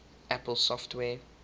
apple software